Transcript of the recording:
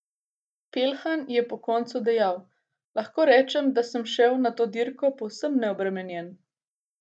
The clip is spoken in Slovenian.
Peljhan je po koncu dejal: 'Lahko rečem, da sem šel na to dirko povsem neobremenjen.